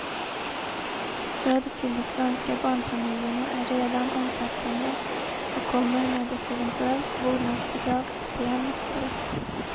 Stödet till de svenska barnfamiljerna är redan omfattande och kommer med ett eventuellt vårdnadsbidrag att bli ännu större.